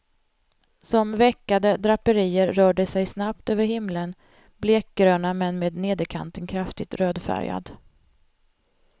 Som veckade draperier rör de sig snabbt över himlen, blekgröna men med nederkanten kraftigt rödfärgad.